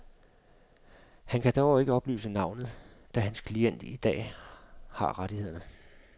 Han kan dog ikke oplyse navnet, da hans klient i dag har rettighederne.